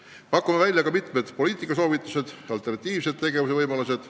Me pakume välja mitmed poliitikasoovitused ja alternatiivse tegevuse võimalused.